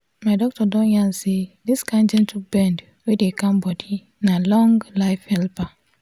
my doctor don yarn say this kind gentle bend wey dey calm body na long-life helper.